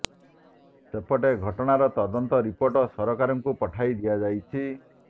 ସେପଟେ ଘଟଣା ର ତଦନ୍ତ ରିପୋର୍ଟ ସରକାରଙ୍କୁ ପଠାଇ ଦିଆଯାଇଛି